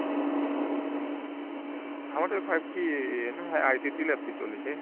ଆମର ଏବେ 5T ICT lab ଚାଲିଛି